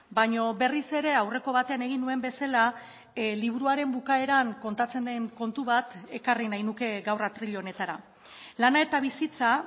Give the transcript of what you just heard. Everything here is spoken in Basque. baino berriz ere aurreko batean egin nuen bezala liburuaren bukaeran kontatzen den kontu bat ekarri nahi nuke gaur atril honetara lana eta bizitza